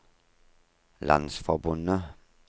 landsforbundet